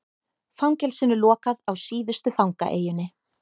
Fangelsinu lokað á síðustu fangaeyjunni